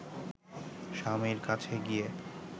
স্বামীর কাছে গিয়ে